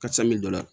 Karisa min bɛ dɔ la